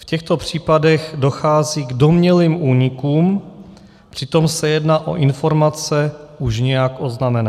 V těchto případech dochází k domnělým únikům, přitom se jedná o informace už nějak oznámené.